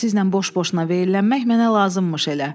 Sizlə boş-boşuna verilişlənmək mənə lazımmış elə.